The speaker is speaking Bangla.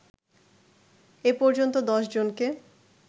এ পর্যন্ত ১০ জনকে